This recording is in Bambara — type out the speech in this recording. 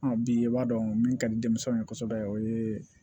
bi i b'a dɔn min ka di denmisɛnw ye kosɛbɛ o ye